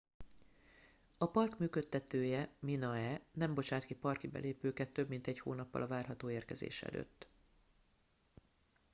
a park működtetője minae nem bocsát ki parki belépőket több mint egy hónappal a várható érkezés előtt